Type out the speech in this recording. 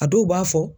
A dɔw b'a fɔ